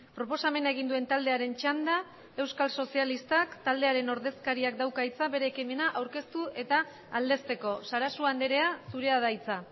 proposamena egin duen taldearen txanda euskal sozialistak taldearen ordezkariak dauka hitza bere ekimena aurkeztu eta aldezteko sarasua andrea zurea da hitza